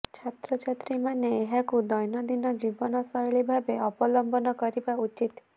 ଛାତ୍ରଛାତ୍ରୀମାନେ ଏହାକୁ ଦ୘ନନ୍ଦିନ ଜୀବନ ଶ୘ଳୀ ଭାବରେ ଅବଲମ୍ବନ କରିବା ଉଚିତ୍